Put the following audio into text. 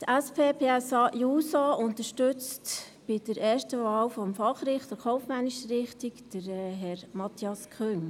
Die SP-JUSO-PSA-Fraktion unterstützt bei der ersten Wahl des Fachrichters kaufmännischer Richtung Herrn Matthias Küng.